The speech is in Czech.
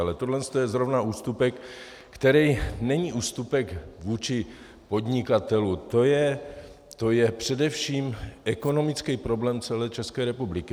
Ale toto je zrovna ústupek, který není ústupek vůči podnikatelům, to je především ekonomický problém celé České republiky.